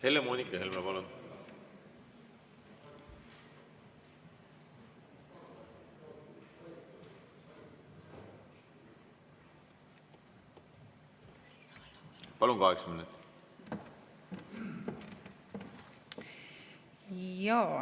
Helle-Moonika Helme, palun!